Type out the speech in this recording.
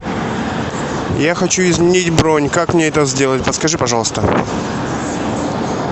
я хочу изменить бронь как мне это сделать подскажи пожалуйста